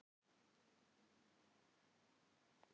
Valhöll vinstra megin, askur Yggdrasils hægra megin.